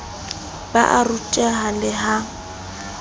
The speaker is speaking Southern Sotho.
ba a ruteha le ka